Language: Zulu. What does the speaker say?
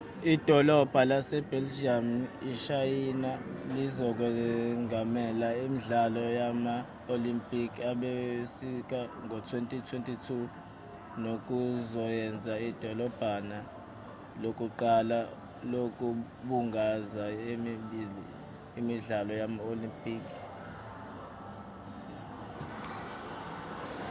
idolabha lasebeijing eshayina lizokwengamela imidlalo yama-olimpikhi asebusika ngo-2022 nokuzoyenza idolabha lokuqala lokubungaza yomibili imidlalo yama-olimpikhi yasebusika nasehlobo